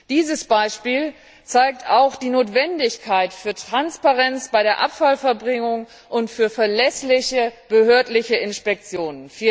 Dieses Beispiel zeigt auch die Notwendigkeit von Transparenz bei der Abfallverbringung und von verlässlichen behördlichen Inspektionen.